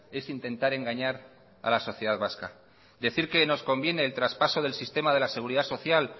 es intentar engañar a la sociedad vasca decir que nos conviene el traspaso del sistema de la seguridad social